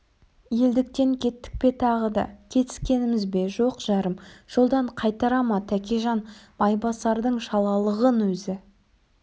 елдіктен кеттік пе тағы да кетіскеніміз бе жоқ жарым жолдан қайтара ма тәкежан майбасардың шалалығын өзі